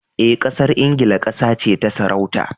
Eh, Ƙasar Ingila ƙasa ce ta sarauta.